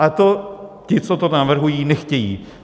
A to ti, co to navrhují, nechtějí.